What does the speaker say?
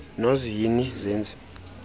nozi hini zenzi